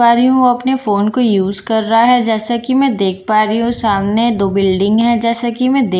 पा रही हूँ वो अपने फोन को यूज कर रहा है जैसा कि मैं देख पा रही हूँ सामने दो बिल्डिंग हैं जैसा कि मैं दे --